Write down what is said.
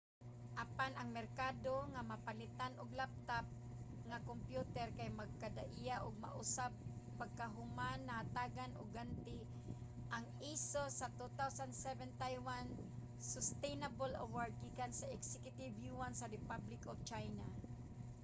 apan ang merkado nga mapalitan og laptop nga kompyuter kay magkadaiya ug mausab pagkahuman nahatagan og ganti ang asus sa 2007 taiwan sustainable award gikan sa executive yuan sa republic of china